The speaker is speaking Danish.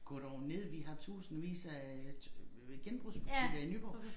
Gå dog ned vi har tusindvis af øh genbrugsbutikker i Nyborg